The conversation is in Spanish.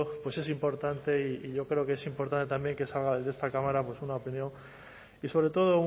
es importante y yo creo que es importante también que salga desde esta cámara una opinión y sobre todo